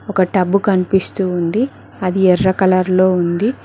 ఒక టబ్బు కన్పిస్తూ ఉంది అది ఎర్ర కలర్ లో ఉంది.